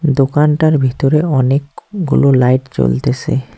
দোকানটার ভিতরে অনেকগুলো লাইট জ্বলতেসে।